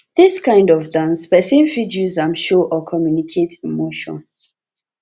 dis kind of dance person fit use am show or communicate emotion